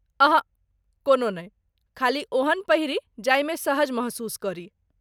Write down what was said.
अहँ , कोनो नहि ,खाली ओहन पहिरी जाहिमे सहज महसूस करी।